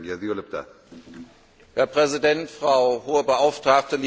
Herr Präsident, Frau Hohe Beauftragte, liebe Kolleginnen und Kollegen!